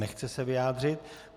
Nechce se vyjádřit.